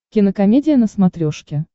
кинокомедия на смотрешке